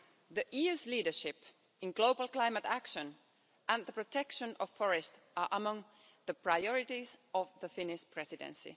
The EU's leadership in global climate action and the protection of forests are among the priorities of the Finnish Presidency.